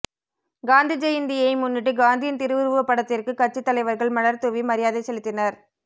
காந்தி ஜெயந்தியை முன்னிட்டு காந்தியின் திருவுருவப்படத்திற்கு கட்சி தலைவர்கள் மலர் தூவி மரியாதை செலுத்தினர்